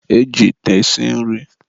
e ji ite esi nri.